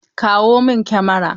Kawo min Kamara!